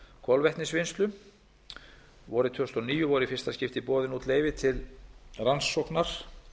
kolvetnisvinnslu vorið tvö þúsund og níu voru í fyrsta skipti boðin út leyfi til rannsóknar